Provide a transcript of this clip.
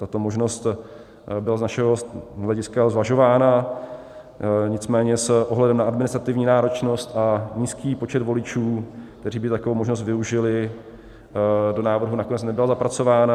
Tato možnost byla z našeho hlediska zvažována, nicméně s ohledem na administrativní náročnost a nízký počet voličů, kteří by takovou možnost využili, do návrhu nakonec nebyla zapracována.